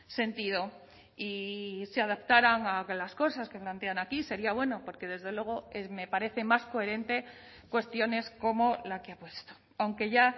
sentido y se adaptaran a que las cosas que plantean aquí sería bueno porque desde luego me parece más coherente cuestiones como la que ha puesto aunque ya